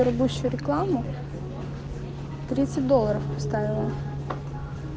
пропущу рекламу тридцать долларов поставила